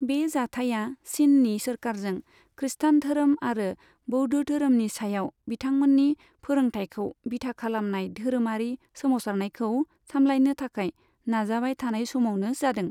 बे जाथाया चिननि सोरखारजों खृस्टान धोरोम आरो बौद्ध धोरोमनि सायाव बिथांमोननि फोरोंथायखौ बिथा खालामनाय धोरोमारि सोमावसारनायखौ सामलायनो थाखाय नाजाबाय थानाय समावनो जादों।